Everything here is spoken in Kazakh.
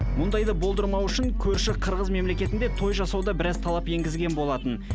мұндайды болдырмау үшін көрші қырғыз мемлекетінде той жасауда біраз талап енгізген болатын